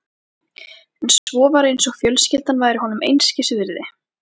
En svo var eins og fjölskyldan væri honum einskis virði.